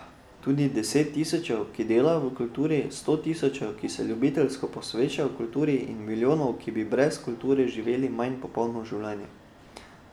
Tudi deset tisočev, ki delajo v kulturi, sto tisočev, ki se ljubiteljsko posvečajo kulturi, in milijonov, ki bi brez kulture živeli manj polno življenje.